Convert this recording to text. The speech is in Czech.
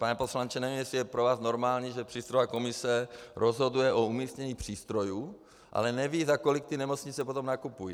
Pane poslanče, nevím, jestli je pro vás normální, že přístrojová komise rozhoduje o umístění přístrojů, ale neví, za kolik ty nemocnice potom nakupují.